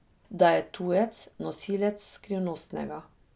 Da je tujec, nosilec skrivnostnega.